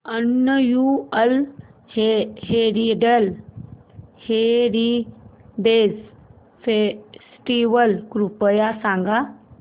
annual heritage festival कृपया सांगा